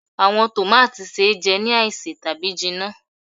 Awọn tòmátì se jẹ ni aise tabi jinna.